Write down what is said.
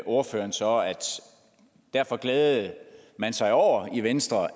ordføreren så at derfor glædede man sig over i venstre